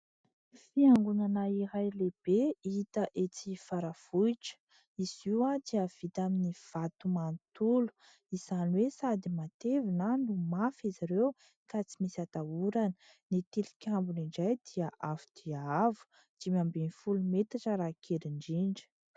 Fiangonana iray lehibe hita etsy Faravohitra ; izy io dia vita amin'ny vato manontolo, izany hoe sady matevina no mafy izy ireo, ka tsy misy atahorana. Ny tilikambony indray dia avo dia avo, dimy ambin'ny folo metatra raha kely indrindra.